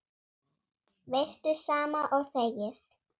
Veistu, sama og þegið.